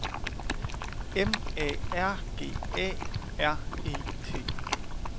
M A R G A R E T